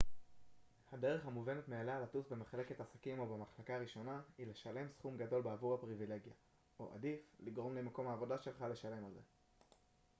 הדרך המובנת מאליה לטוס במחלקת עסקים או במחלקה הראשונה היא לשלם סכום גדול בעבור הפריבילגיה או עדיף לגרום למקום העבודה שלך לשלם על זה